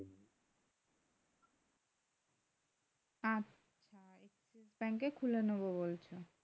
আর এ খুলে নেবো বলছো